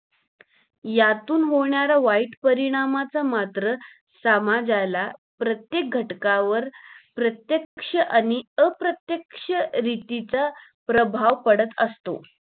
यातून होण्याऱ्या वाईट परिणामा मात्र समाजाला प्रत्येक घटकावर प्रत्येक्ष आणि अप्रतेक्ष रीतीचा प्रभाव पढत असतो